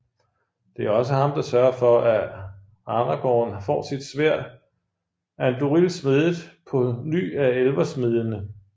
Det er også ham der sørger for at Aragorn får sit sværd Andúril smedet på ny af elversmedende